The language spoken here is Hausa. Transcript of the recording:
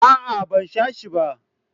a'a ban sha shi ba.